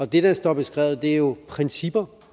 det der står beskrevet er jo principper